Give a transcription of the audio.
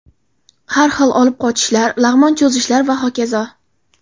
Har xil olib qochishlar, lag‘mon cho‘zishlar va hokazo.